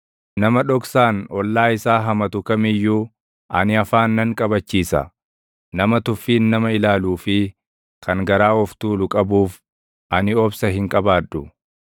Nama dhoksaan ollaa isaa hamatu kam iyyuu, ani afaan nan qabachiisa; nama tuffiin nama ilaaluu fi kan garaa of tuulu qabuuf, ani obsa hin qabaadhu.